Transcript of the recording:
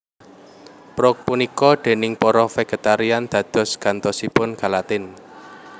Prouk punika déning para vegetarian dados gantosipun gelatin